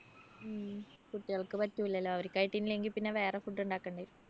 കുട്ടികള്‍ക്ക് പറ്റൂലല്ലോ. അവര്‍ക്കായിട്ടില്ലെങ്കില്‍ പിന്നെ വേറെ food ഉണ്ടാക്കണ്ടി വരും.